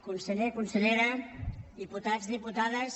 conseller consellera diputats diputades